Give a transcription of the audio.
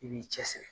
I b'i cɛ siri